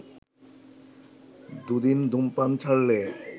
দুদিন ধূমপান ছাড়লে